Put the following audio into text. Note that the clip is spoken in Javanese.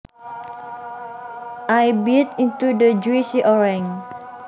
I bit into the juicy orange